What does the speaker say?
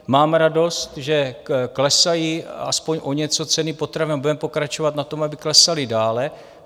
Mám radost, že klesají aspoň o něco ceny potravin a budeme pokračovat na tom, aby klesaly dále.